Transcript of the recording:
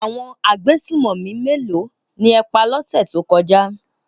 Àwọn agbésùnmọ̀mí méèló ni ẹ pa lọ́sẹ̀ tó kọjá?